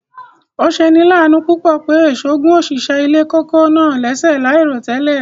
Ọ̀ sẹ̀ ni làánú púpọ̀ pé èṣọ̀ gún ọ̀ṣìṣẹ̀ ilẹ̀ kòkó̀ náà lẹ̀ṣẹ̀ laírotẹlẹ̀.